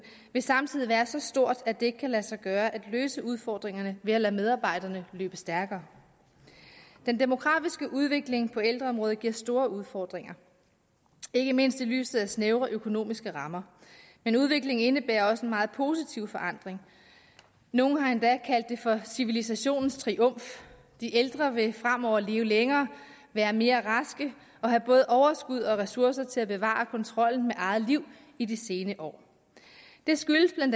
vil samtidig være så stort at det ikke kan lade sig gøre at løse udfordringerne ved at lade medarbejderne løbe stærkere den demografiske udvikling på ældreområdet giver store udfordringer ikke mindst i lyset af snævre økonomiske rammer men udviklingen indebærer også en meget positiv forandring nogen har endda kaldt det for civilisationens triumf de ældre vil fremover leve længere være mere raske og have både overskud og ressourcer til at bevare kontrollen med eget liv i de sene år det skyldes bla at